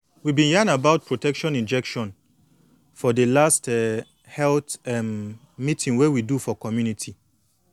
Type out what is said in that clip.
we been yan about protection injection for de last um health um meeting wey we do for community